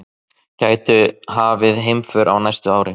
Gætu hafið heimför á næsta ári